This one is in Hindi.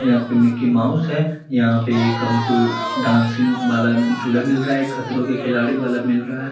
यहाँ पे मिक्की माउस है यहाँ पे एक हमको डांसिंग वाला जुला मिल रहा है एक खतरों के खिलाड़ी वाला मिल रहा है।